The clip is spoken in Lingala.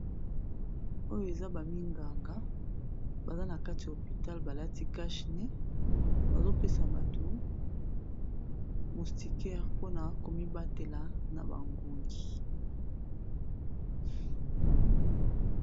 Oyo eza ba minganga, baza na kati ya hopital ba lati cache nez. Bazo pesa bato moustiquaire, mpona ko mibatela na ba ngungi.